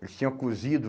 Eles tinham cozido.